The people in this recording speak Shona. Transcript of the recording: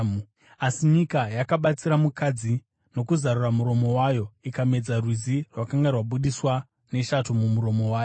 Asi nyika yakabatsira mukadzi nokuzarura muromo wayo ikamedza rwizi rwakanga rwabudiswa neshato mumuromo wayo.